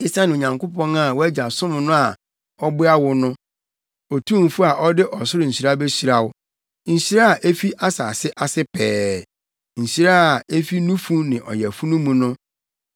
esiane Onyankopɔn a wʼagya som no a ɔboa wo no; Otumfo a ɔde ɔsoro nhyira behyira wo; nhyira a efi asase ase pɛɛ; nhyira a efi nufu ne ɔyafunu mu no.